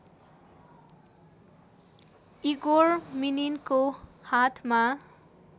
Igor मिनिनको हातमा